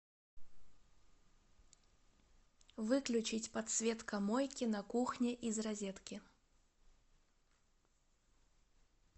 выключить подсветка мойки на кухне из розетки